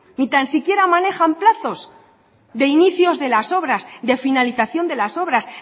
ni tan siquiera manejan plazos de inicios de las obras de finalización de las obras